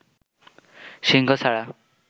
সিংহ ছাড়া